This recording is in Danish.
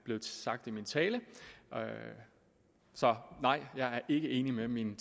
blevet sagt i min tale så nej jeg er ikke enig med min